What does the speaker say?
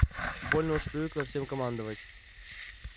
больно уж привыкла всем командовать